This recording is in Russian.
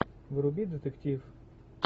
вруби детектив